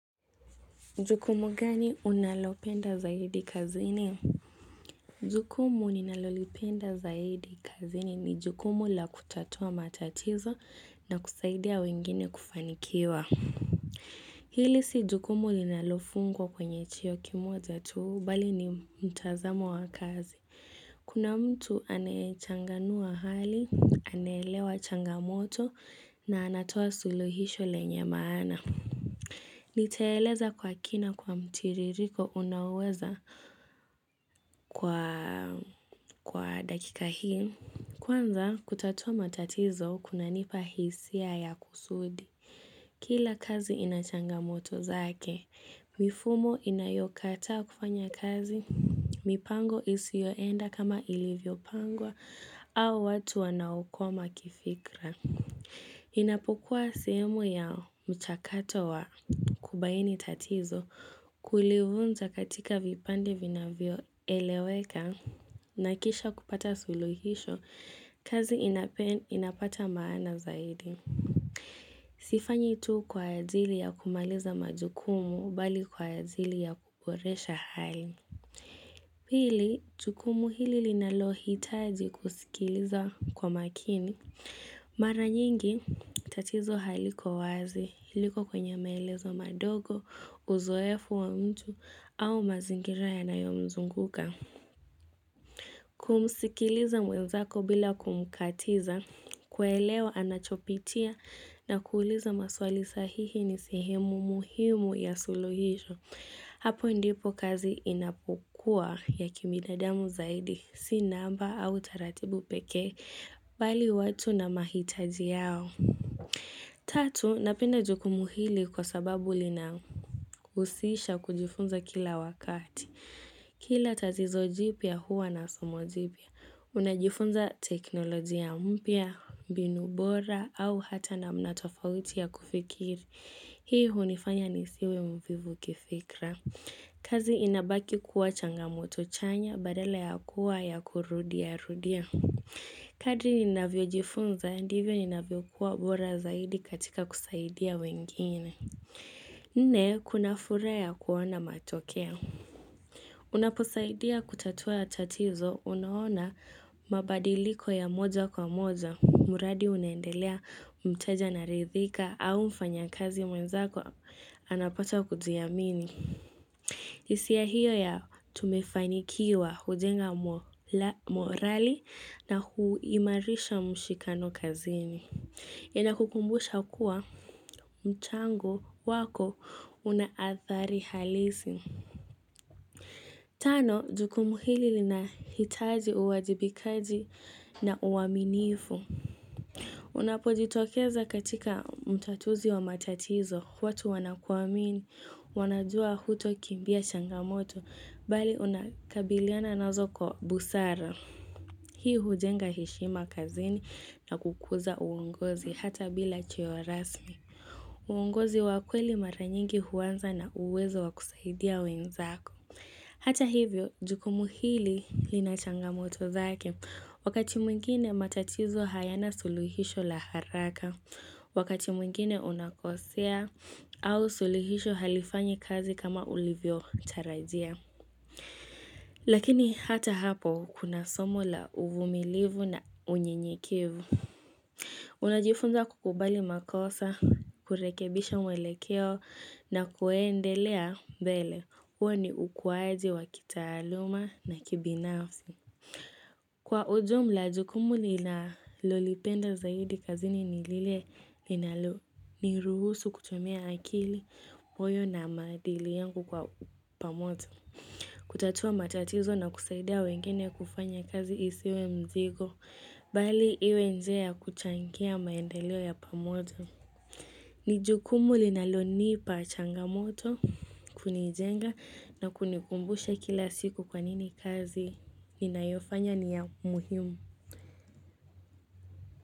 Jukumu gani unalopenda zaidi kazini? Jukumu ninalolipenda zaidi kazini ni jukumu la kutatua matatizo na kusaidia wengine kufanikiwa. Hili si jukumu linalofungwa kwenye chenye kimoja tu bali ni mtazamo wa kazi. Kuna mtu anayechanganua hali, anaelewa changamoto na anatoa suluhisho lenye maana. Nitaeleza kwa kina, kwa mtiririko unaoweza kwa dakika hii. Kwanza kutatua matatizo kunanipa hisia ya kusudi. Kila kazi inachanga moto zake. Mifumo inayokata kufanya kazi. Mipango isiyoenda kama ilivyopangwa au watu wanaokoma kifikra. Inapokuwa sehemu ya mchakato wa kubaini tatizo kulivunja katika vipande vinavyoeleweka na kisha kupata suluhisho kazi inapata maana zaidi. Sifanyi tu kwa ajili ya kumaliza majukumu, bali kwa ajili ya kuboresha hali. Pili, jukumu hili linalohitaji kusikiliza kwa makini. Mara nyingi, tatizo haliko wazi, liko kwenye maelezo madogo, uzoefu wa mtu, au mazingira yanayomzunguka. Kumsikiliza mwenzako bila kumkatiza, kuelewa anachopitia na kuuliza maswali sahihi ni sehemu muhimu ya suluhisho. Hapo ndipo kazi inapokua ya kibinadamu zaidi, si namba au taratibu peke bali watu na mahitaji yao. Tatu, napenda jukumu hili kwa sababu linahusisha kujifunza kila wakati. Kila tatizo jipya huwa na somo jipya. Unajifunza teknolojia mpya, mbinu bora au hata namna tofauti ya kufikiri. Hii hunifanya nisiwe mvivu kifikra. Kazi inabaki kuwa changamoto chanya badala ya kuwa ya kurudia rudia Kadri ninavyojifunza ndivyo ninavyo kuwa bora zaidi katika kusaidia wengine Nne, kuna furaha ya kuona matokeo Unaposaidia kutatua tatizo unaona mabadiliko ya moja kwa moja mradi unaendelea, mteja anaridhika au mfanyakazi mwenzako anapata kujiamini hisia hiyo ya tumefanikiwa, hujenga morali na huimarisha mshikano kazini. Inakukumbusha kuwa mchango wako unaathari halisi. Tano, jukumu hili linahitaji uwajibikaji na uaminifu. Unapojitokeza katika mtatuzi wa matatizo. Watu wanakuamini, wanajua hutokimbia changamoto. Bali unakabiliana nazo kwa busara. Hii hujenga heshima kazini na kukuza uongozi hata bila cheo rasmi. Uongozi wa kweli mara nyingi huanza na uwezo wa kusaidia wenzako. Hata hivyo, jukumu hili linachanga moto zake. Wakati mwingine matatizo hayana suluhisho la haraka. Wakati mwingine unakosea au suluhisho halifanyi kazi kama ulivyotarajia. Lakini hata hapo kuna somo la uvumilivu na unyenyekevu. Unajifunza kukubali makosa, kurekebisha mwelekeo na kuendelea mbele. Huo ni ukuaji wa kitaaluma na kibinafsi. Kwa ujumla, jukumu ninalolipenda zaidi kazini ni lile linalo niruhusu kutumia akili, moyo na maadili yangu kwa pamoja. Kutatua matatizo na kusaidia wengine kufanya kazi isiwe mzigo, bali iwe njia ya kuchangia maendeleo ya pamoja. Ni jukumu linalonipa changamoto, kunijenga na kunikumbusha kila siku kwa nini kazi inayofanya ni ya muhimu.